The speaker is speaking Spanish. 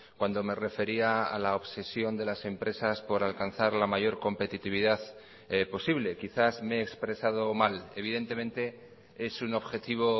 cuando me refería a la obsesión de las empresas por alcanzar la mayor competitividad posible quizás me he expresado mal evidentemente es un objetivo